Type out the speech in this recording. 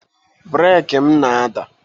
breeki m na-ada